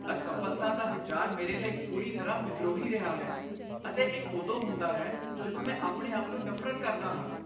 ਅਸਫ਼ਲਤਾ ਦਾ ਵਿਚਾਰ ਮੇਰੇ ਲਈ ਪੂਰੀ ਤਰ੍ਹਾਂ ਵਿਦਰੋਹੀ ਰਿਹਾ ਹੈ ਅਤੇ ਇਹ ਉਦੋਂ ਹੁੰਦਾ ਹੈ ਜਦੋਂ ਮੈਂ ਆਪਣੇ ਆਪ ਨੂੰ ਨਫ਼ਰਤ ਕਰਦਾ ਹਾਂ।